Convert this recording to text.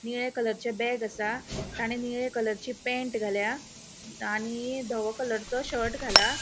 निळ्या कलरचे बैग असा ताणें निळ्या कलरची पैन्ट घाल्या आणि धवो कलरचो शर्ट घाला.